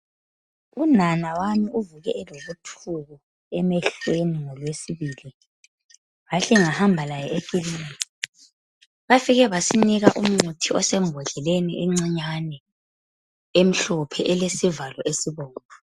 Unana wami uvuke elobuthuku emehlweni ngolwesibili. Ngahle ngahamba laye ekiliniki. Bafike basinika umncitshi osembodleleni encinyane, emhlophe elesivalo esibomvu.